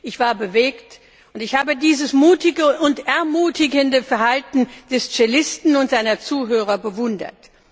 Ich war bewegt und ich habe dieses mutige und ermutigende Verhalten des Cellisten und seiner Zuhörer bewundert.